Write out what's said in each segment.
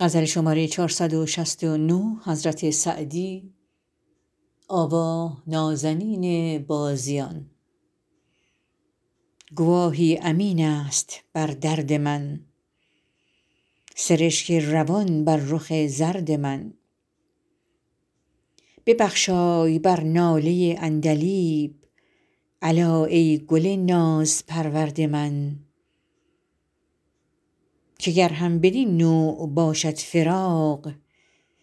گواهی امین است بر درد من سرشک روان بر رخ زرد من ببخشای بر ناله عندلیب الا ای گل نازپرورد من که گر هم بدین نوع باشد فراق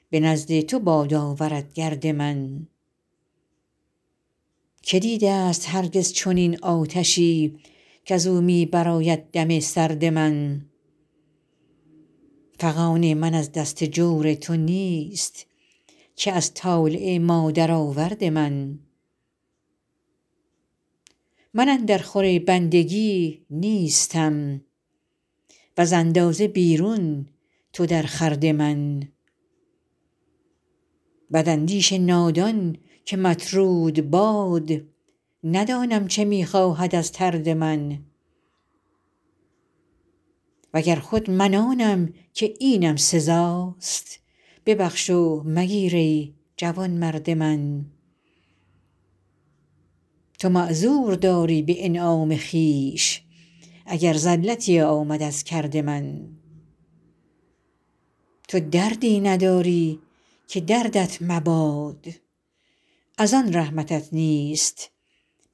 به نزد تو باد آورد گرد من که دیده ست هرگز چنین آتشی کز او می برآید دم سرد من فغان من از دست جور تو نیست که از طالع مادرآورد من من اندر خور بندگی نیستم وز اندازه بیرون تو در خورد من بداندیش نادان که مطرود باد ندانم چه می خواهد از طرد من و گر خود من آنم که اینم سزاست ببخش و مگیر ای جوانمرد من تو معذور داری به انعام خویش اگر زلتی آمد از کرد من تو دردی نداری که دردت مباد از آن رحمتت نیست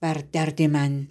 بر درد من